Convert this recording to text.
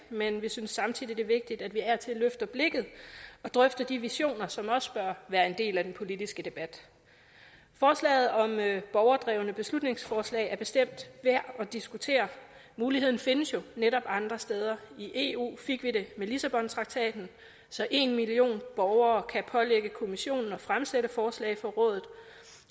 men vi synes samtidig det er vigtigt af og til at løfte blikket og drøfte de visioner som også bør være en del af den politiske debat forslaget om borgerdrevne beslutningsforslag er bestemt værd at diskutere muligheden findes jo netop andre steder i eu fik vi det med lissabontraktaten så en million borgere kan pålægge kommissionen at fremsætte forslag for rådet